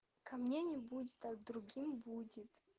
ко мне не будет а к другим будет